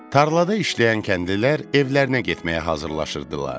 Tarlada işləyən kəndlilər evlərinə getməyə hazırlaşırdılar.